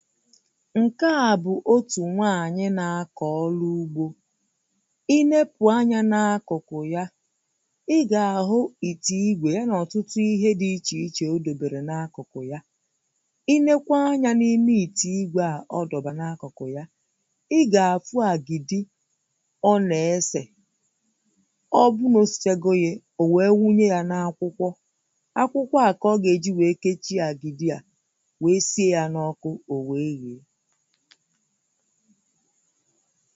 Ṅ̀ke á bụ otu nwanyi na-akọ ọlụ ụ̀gbō. Ịnepu ànyá ná àkụ̄kụ̄ yà Ị̀ga àhụ ịtē igwē yá ná ọ̀tụ̄tụ̄ ihè di ị̀chè-ị̀chè ò dōbērē na àkụ̄kụ̄ ya. Ịnékwé ànyá n’ime ị̀tē igwē a ọ dọ̀ba na àkụ̄kụ̄ yà Ịgà áfụ àgịdị́ Ọ na-ese Ọ̀ bụ̀ n’osichego yē o wee wụ nye ya na akwụ̄kwọ́ Akwụ̀kwọ a ka ọ geji wee kechie agị̀dị́ a Wee si ya n’okụ̀ o wee ghē